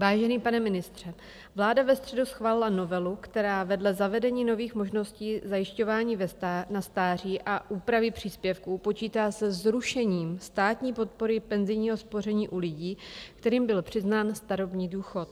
Vážený pane ministře, vláda ve středu schválila novelu, která vedle zavedení nových možností zajišťování na stáří a úpravy příspěvků počítá se zrušením státní podpory penzijního spoření u lidí, kterým byl přiznán starobní důchod.